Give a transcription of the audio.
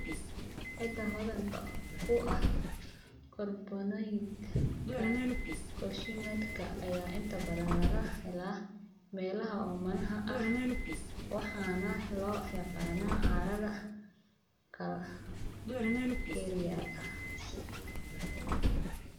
Ciidda hodanka ku ah kaarboonaydh-ka kaalshiyamka ayaa inta badan laga helaa meelaha oomanaha ah waxaana loo yaqaannaa carrada calcareous.